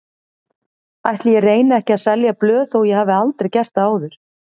Ætli ég reyni ekki að selja blöð þó ég hafi aldrei gert það áður.